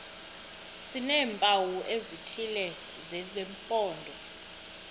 sineempawu ezithile zesimpondo